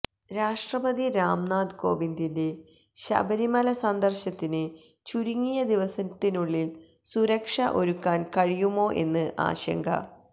രാഷ്ട്രപതി രാം നാഥ് കോവിന്ദിന്റെ ശബരിമല സന്ദര്ശനത്തിന് ചുരുങ്ങിയ ദിവസത്തിനുള്ളില് സുരക്ഷ ഒരുക്കാന് കഴിയുമോ എന്ന് ആശങ്ക